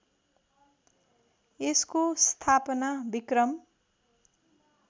यसको स्थापना विक्रम